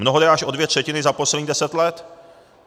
Mnohdy až o dvě třetiny za posledních deset let.